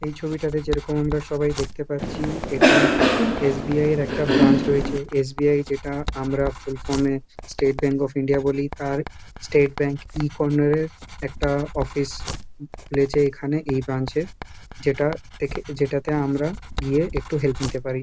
এই ছবিটাতে যেরকম আমরা সবাই দেখতে পাচ্ছি এটা এস.বি.আই -এর একটা ব্রাঞ্চ রয়েছে এস.বি.আই যেটা আমরা ফুল ফর্ম -এ স্টেট ব্যাঙ্ক অফ ইন্ডিয়া বলি তার স্টেট ব্যাঙ্ক ই-কর্নার -এর একটা অফিস খুলেছে এখানে এই ব্রাঞ্চ -এ যেটা থেকে যেটাতে আমরা গিয়ে একটু হেল্প নিতে পারি।